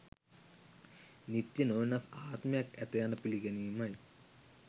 නිත්‍ය, නොවෙනස් ආත්මයක් ඇත යන පිළිගැනීමයි.